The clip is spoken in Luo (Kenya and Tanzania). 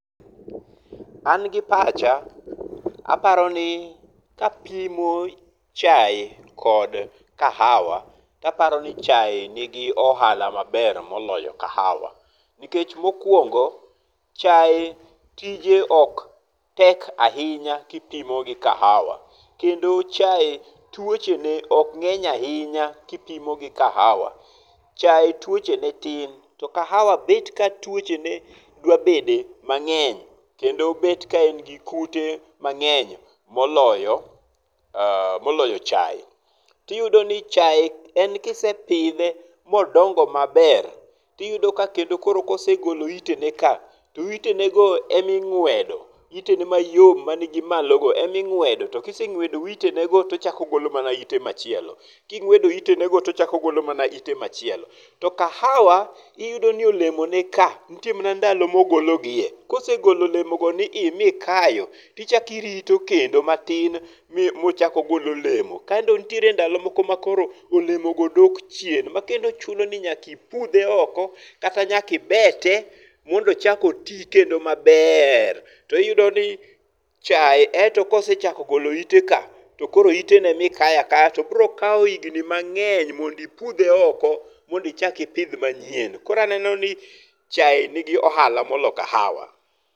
An gi pacha, aparo ni kapimo chae kod kahawa to aparo ni chae ni gi ohala maber moloyo kahawa. Nikech mokwongo, chae tije ok tek ahinya kipimo gi kahawa. Kendo chae tuoche ne ok ng'eny ahinya kipimo gi kahawa. Chae tuoche ne tin to kahawa bet ka tuoche ne dwa bede mang'eny kendo bet ka en gi kute mang'eny moloyo chae. Tiyudo ni chae e kise pidhe modongo maber tiyudo ka kendo koro kosegolo ite ne ka, to itenego e ma ing'wedo. Ite ne go mayom mani gi malogo ema ing'wedo. To kiseng'wedo itenego to ochako ogolo mane ite machielo. Kong'wedo itenego tochako ogolo mana ite machielo. To kahawa, iyudo ni olemo ne ka nitie mana ndalo mogologie. Kosegolo olemo go ni i mikayo, tichako irito kendo matin mochako ogol olemo. Koro nitie ndalo moko ma olemo go dok chien. Ma kendo chuni ni nyaka ipudhe oko kata nyaka ibete mondo ochak oti kendo maber. To iyudo ni chae ento kosechako golo ite ka, to koro ite no ema ikayo akaya to biro kawo higni mang'eny mond ipudhe oko mond ichak ipidh manyien. Koro aneno ni chae ni gi ohala moloyo kahawa.